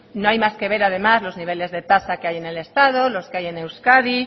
no hay más que ver los niveles de tasa que hay en el estado los que hay en euskadi